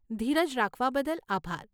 ધીરજ રાખવા બદલ આભાર.